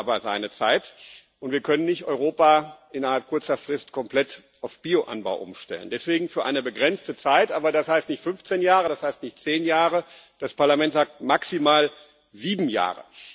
Das dauert aber seine Zeit, und wir können nicht Europa innerhalb kurzer Frist komplett auf Bio Anbau umstellen. Deswegen für eine begrenzte Zeit, aber das heißt nicht fünfzehn Jahre, das heißt nicht zehn Jahre. Das Parlament sagt maximal sieben Jahre.